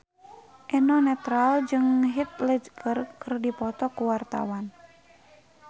Eno Netral jeung Heath Ledger keur dipoto ku wartawan